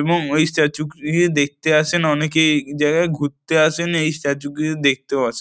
এবং ওই স্ট্যাচু -টিকে দেখতে আসেন অনেকেই এই জায়গায় ঘুরতে আসেন এই স্ট্যাচু -কে দেখতেও আসেন।